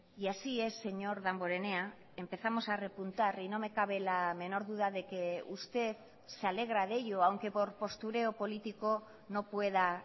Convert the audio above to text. y así es señor danborenea empezamos a repuntar y no me cabe la menor duda de que usted se alegra de ello aunque por postureo político no pueda